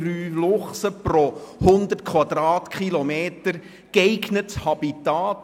3,13 Luchse pro 100 Quadratkilometer, geeignetes Habitat.